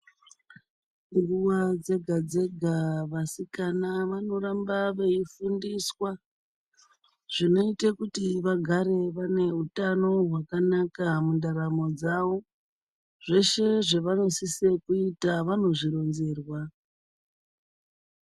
Nguva dzega-dzega, vasikana vanoramba veifundiswa, zvinoite kuti vagare vane utano hwakanaka mundaramo dzawo. Zveshe zvevanosise kuita vanozvironzerwa.